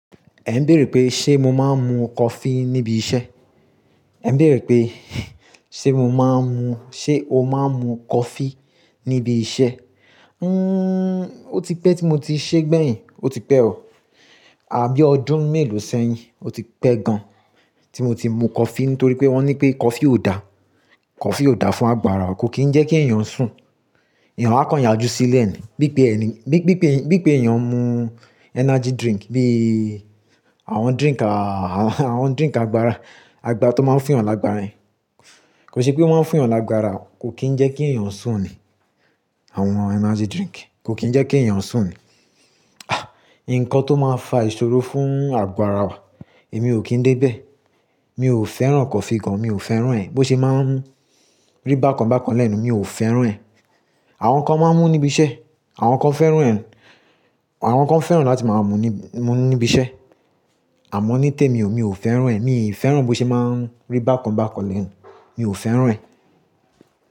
Ẹ ń béèrè pé ṣe mo máa ń mu coffee níbi iṣẹ́? Ẹ ń béèrè pé ṣe mo máa ń mu-- ṣe o máa ń mu coffee níbi iṣẹ́? Nnn, ó ti pẹ́ tí mo ti ṣe gbèyìn, ó ti pẹ́ ọ, àbí ọdún mélòó sẹ́yìn, ó ti pẹ́ gan tí mo ti mu coffee nítorí pé wọ́n ní pé coffee ò da, coffee ò da fún àgbàrá, kò kín ń jẹ́ kí èèyàn sùn, èèyàn á kàn yájú sílẹ̀ ni. Bí i pé ẹni, bí i pé, bí i pé èèyàn ń mu energy drink bí i àwọn drink a, àwọn drink àgbàrá, àgbà to máa ń fún èèyàn lágbára yẹn. Kò sí pé wọ́n máa ń fún èèyàn lágbára, kò kín ń jẹ́ kí èèyàn sùn ni, àwọn energy drink kò kín ń jẹ́ kí èèyàn sùn ni. Ah! Nǹkan tó máa ń fa ìṣòro fún àgo ará wa, èmi ò kí ń dé bẹ́ẹ̀. Mi ò fẹ́ràn coffee gan, mi ò fẹ́ràn ẹ̀, bó ṣe máa ń mú rí bákan bákan lẹ́nu, mi ò fẹ́ràn ẹ̀. Àwọn kan máa ń mú níbi iṣẹ́, àwọn kan fẹ́ràn ẹ́, àwọn kan fẹ́ràn láti máa mú ní, mú níbi iṣẹ́. Àmọ́ ní tèmi, mi ò fẹ́ràn ẹ̀, mi ò fẹ́ràn bó ṣe máa ń mú rí bákan bákan lẹ́nu, mi ò fẹ́ràn ẹ̀.